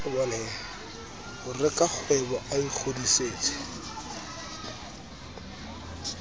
ho re rakgwebo a ingodisetse